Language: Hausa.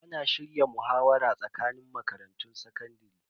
Ana shirya muhawara tsakanin makarantun sakandare.